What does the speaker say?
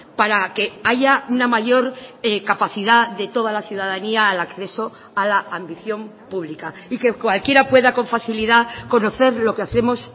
para que haya una mayor capacidad de toda la ciudadanía al acceso a la ambición pública y que cualquiera pueda con facilidad conocer lo que hacemos